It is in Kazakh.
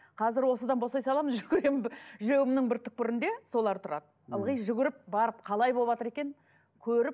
қазір осыдан босай саламын жүгіремін жүрегімнің бір түкпірінде солар тұрады ылғи жүгіріп барып қалай болыватыр екен көріп